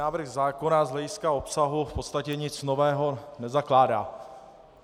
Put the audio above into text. Návrh zákona z hlediska obsahu v podstatě nic nového nezakládá.